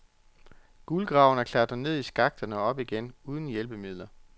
Guldgraverne klatrer ned i skakterne, og op igen, uden hjælpemidler.